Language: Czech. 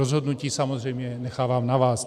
Rozhodnutí samozřejmě nechávám na vás.